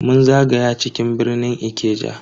Mun zagaya cikin birnin Ikeja